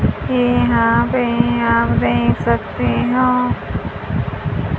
यहां पे आप देख सकते हैं।